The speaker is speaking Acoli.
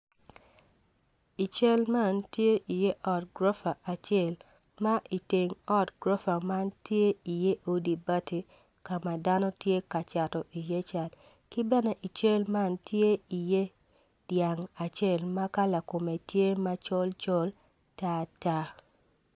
I cel man tye iye ot gurofa acel ma iteng ot gurofa man tye iye odi bati ka dano tye ka cato iye cat ki bene ical man tye iye dyang acel ma kala kume tye macol coln tar tar